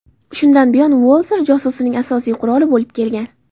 Shundan buyon Walther josusning asosiy quroli bo‘lib kelgan.